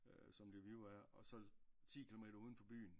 Som Lviv er og så ti kilometer ude for byen